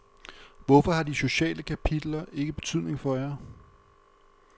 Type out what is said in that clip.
Hvorfor har de sociale kapitler ikke betydning for jer?